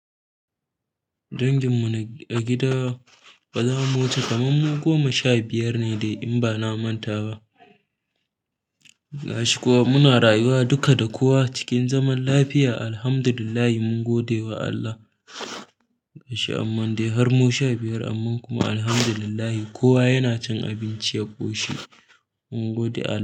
Danginmu na a gida ba zamu wuce kamar mu goma sha biyar ne dai in ba na manta ba. Gashi kuma muna rayuwa duka da kowa cikin zaman lafiya Alhamdulillah mungode ma Allah gashi mu sha biyar amma kowa yana cin abunci alhamdulillah.